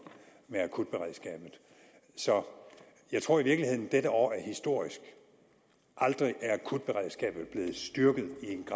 med akutberedskabet jeg tror i virkeligheden at dette år er historisk aldrig er akutberedskabet blevet styrket